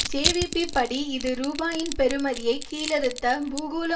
JVP படி இது ரூபாயின் பெறுமதியை கீழறுத்த பூகோள